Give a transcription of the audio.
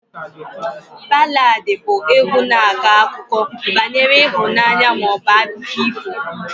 Baladị bụ égwu na-akọ akụkọ banyere ịhụnanya ma ọ bụ akụkọ ifo